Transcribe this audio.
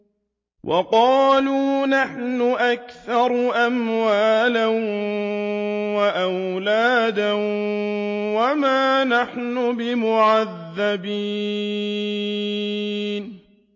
وَقَالُوا نَحْنُ أَكْثَرُ أَمْوَالًا وَأَوْلَادًا وَمَا نَحْنُ بِمُعَذَّبِينَ